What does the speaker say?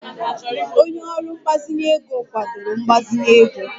Onye ọrụ mgbazinye ego kwadoro mgbazinye ego